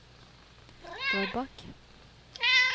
Drøbak